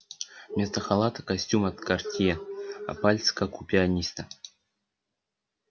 вместо халата костюм от картье а пальцы как у пианиста